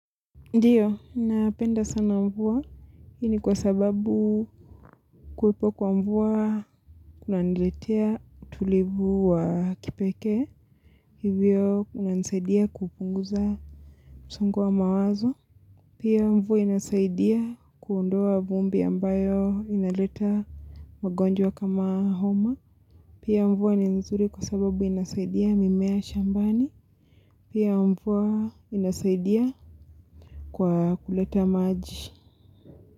Ndiyo, ninapenda sana mvua, hii ni kwa sababu. Kuwepo kwa mvua kuna niletea utulivu wa kipekee, hivyo unasaidia kupunguza msongo wa mawazo, pia mvua inasaidia kuondoa vumbi ambayo inaleta magonjwa kama homa, pia mvua ni nzuri kwa sababu inasaidia mimea shambani, pia mvua inasaidia kwa kuleta maji.